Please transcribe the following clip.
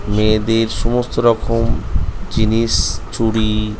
মেয়েদের সমস্ত রকম জিনিস চুরি--